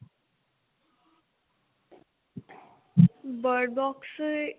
bird box